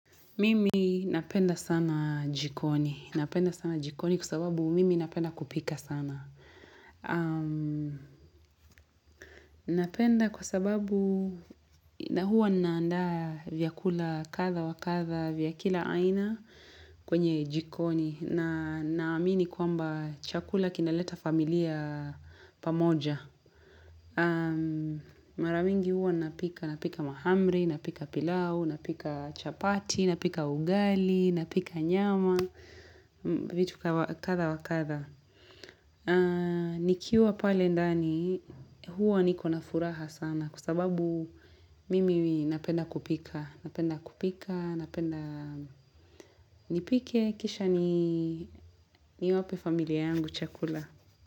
Mimi napenda sana jikoni. Napenda sana jikoni kwa sababu mimi napenda kupika sana. Napenda kwa sababu na huwa ninaaqndaa vyakula kadhaa wa kadhaa vya kila aina kwenye jikoni. Na naamini kwamba chakula kinaleta familia pamoja. Mara mingi huwa napika mahamri, napika pilau, napika chapati, napika ugali, napika nyama vitu kadhaa wakadhaa nikiwa pale ndani huwa niko na furaha sana Kwasababu mimi napenda kupika Napenda kupika, napenda nipike, kisha ni wape familia yangu chakula.